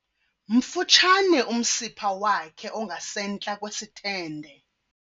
Mfutshane umsipha wakhe ongasentla kwesithende.